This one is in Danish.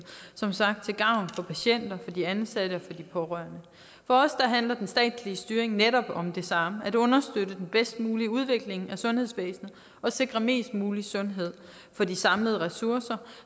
som sagt til gavn for patienter de ansatte og de pårørende for os handler den statslige styring netop om det samme at understøtte den bedst mulige udvikling af sundhedsvæsenet og sikre mest mulig sundhed for de samlede ressourcer